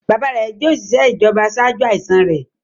Bàbáa rẹ̀ jẹ́ òṣìṣẹ́ ìjọba ṣáájú àìsàn rẹ̀.